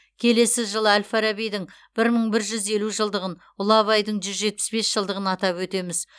келесі жылы әл фарабидің бір мың бір жүз елу жылдығын ұлы абайдың жүз жетпіс бес жылдығын атап өтеміз